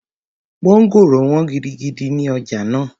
Mọ́ngòrò wọ́n gidigidi ní ọjà náà